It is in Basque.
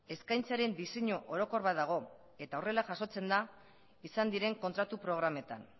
eskaintzaren diseinu orokor bat dago eta horrela jasotzen da izan diren kontratu programetan